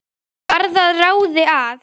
Varð að ráði að